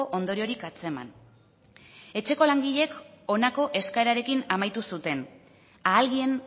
ondoriorik atzeman etxeko langileek honako eskaerarekin amaitu zuten a alguien